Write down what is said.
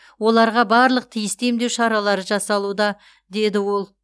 оларға барлық тиісті емдеу шаралары жасалуда деді ол